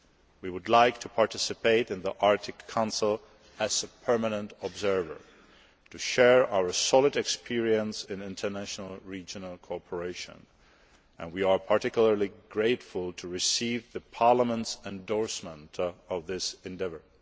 We would like to participate in the Arctic Council as a permanent observer to share our solid experience in international regional cooperation, and we are particularly grateful for Parliament's endorsement of this endeavour.